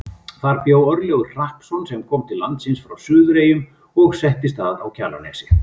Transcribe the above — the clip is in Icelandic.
Þar bjó Örlygur Hrappsson sem kom til landsins frá Suðureyjum og settist að á Kjalarnesi.